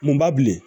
Munba bilen